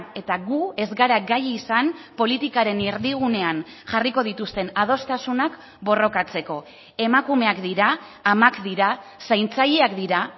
eta gu ez gara gai izan politikaren erdigunean jarriko dituzten adostasunak borrokatzeko emakumeak dira amak dira zaintzaileak dira